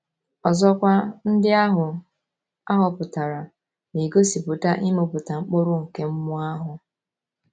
Ọzọkwa, ndị ahụ a họpụtara na - egosipụta ịmịpụta mkpụrụ nke mmụọ ahụ.